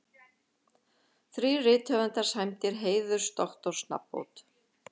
Þrír rithöfundar sæmdir heiðursdoktorsnafnbót